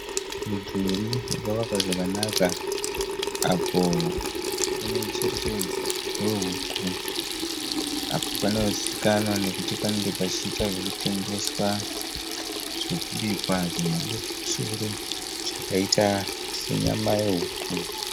Mudhuri wakavakwa zvakanaka apo une mucherechedzo wehuku apo panozivikanwa nekuti panenge pachiita zvekutengeswa zvekubikwa zvemhando yepamusoro zvakaita senyama yehuku.